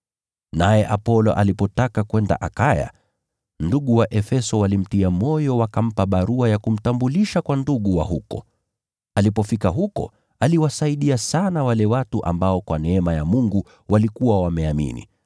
Naye Apolo alipotaka kwenda Akaya, ndugu wa Efeso walimtia moyo, wakawaandikia wanafunzi huko ili wamkaribishe. Alipofika huko, aliwasaidia sana wale ambao, kwa neema ya Mungu, walikuwa wameamini.